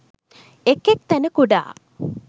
එක් එක් තැන කුඩා